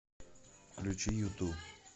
включи юту